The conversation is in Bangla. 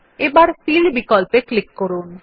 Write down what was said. এবার ফিল বিকল্পে ক্লিক করুন